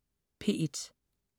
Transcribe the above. P1: